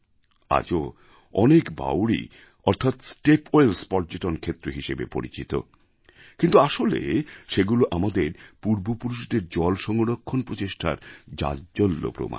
আজও অনেক বাউরি অর্থাৎ স্টেপ ওয়েলস পর্যটন ক্ষেত্র হিসেবে পরিচিত কিন্তু আসলে সেগুলো আমাদের পূর্বপুরুষদের জল সংরক্ষণ প্রচেষ্টার জাজ্বল্য প্রমাণ